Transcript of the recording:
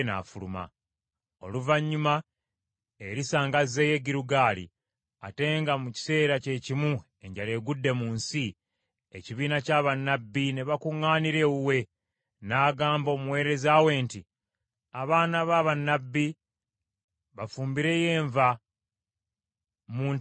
Oluvannyuma, Erisa ng’azeeyo e Girugaali, ate nga mu kiseera kye kimu enjala egudde mu nsi, ekibiina kya bannabbi ne bakuŋŋaanira ewuwe. N’agamba omuweereza we nti, “Abaana ba bannabbi bafumbireyo enva mu ntamu ennene.”